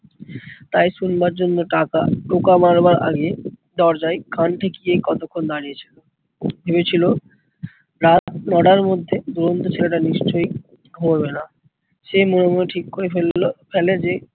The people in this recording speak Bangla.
তাই শুনবার জন্য টাকা টোকা মারবার আগে দরজায় কান ঠেকিয়ে কতক্ষন দাড়িয়েছিল। ভেবেছিলো রাত নয়টার মধ্যে দুরন্ত ছেলেটা নিশ্চই ঘুমোবেনা। সে মনে মনে ঠিক করে ফেললো